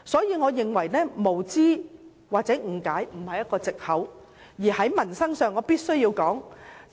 因此，我認為無知或誤解並非藉口，而在民生上，我要說一件事。